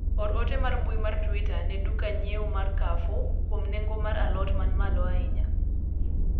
or ote mar mbui mar twita na duka nyieo mar carrefour kuom nengo mar a lot man malo ahinya